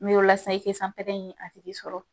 N'i sisan i tɛ sanpɛrɛ in a tigi sɔrɔ